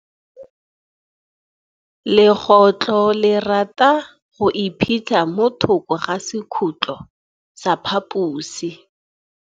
Legôtlô le rata go iphitlha mo thokô ga sekhutlo sa phaposi.